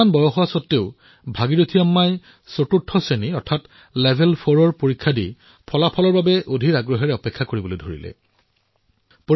ইমান বয়স হোৱাৰ পিছতো ভাগিৰথী আম্মাই চতুৰ্থ শ্ৰেণীক পৰীক্ষাত অৱতীৰ্ণ হল আৰু অধীৰ অপেক্ষাৰে পৰীক্ষাৰ ফলাফলৈ বাট চাই ৰল